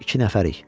İki nəfərik.